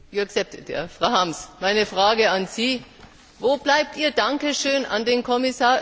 Frau Harms, meine Frage an Sie Wo bleibt Ihr Dankeschön an den Kommissar Oettinger?